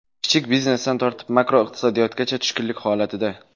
Kichik biznesdan tortib makroiqtisodiyotgacha tushkunlik holatida.